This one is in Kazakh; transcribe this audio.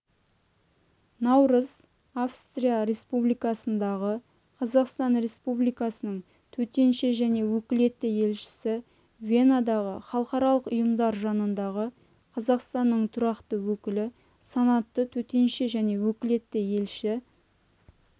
наурыз австрия республикасындағы қазақстан республикасының төтенше және өкілетті елшісі венадағы халықаралық ұйымдар жанындағы қазақстанның тұрақты өкілі санатты төтенше және өкілетті елші